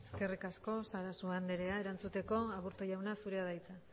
eskerrik asko sarasua andrea erantzuteko aburtu jauna zurea da hitza